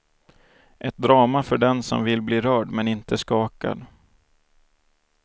Ett drama för den som vill bli rörd men inte skakad.